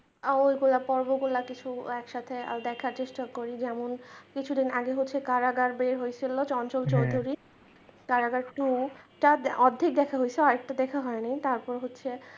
আর ওই গুলা পর্ব গুলা কিছু একসাথে দেখার চেষ্টা করি যেমন কিছুদিন আগে হচ্ছে কারাগার বের হইছিলো চঞ্চল চৌধুরী কারাগার টু তার অর্ধেক দেখা হইছে আর একটা দেখা হয়নি তারপর হচ্ছে।